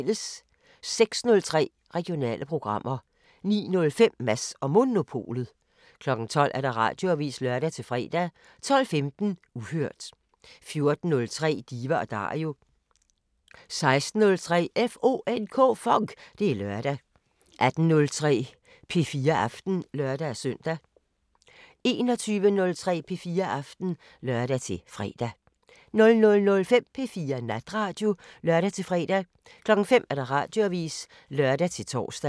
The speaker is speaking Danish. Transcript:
06:03: Regionale programmer 09:05: Mads & Monopolet 12:00: Radioavisen (lør-fre) 12:15: Uhørt 14:03: Diva & Dario 16:03: FONK! Det er lørdag 18:03: P4 Aften (lør-søn) 21:03: P4 Aften (lør-fre) 00:05: P4 Natradio (lør-fre) 05:00: Radioavisen (lør-tor)